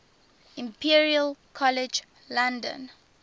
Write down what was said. imperial college london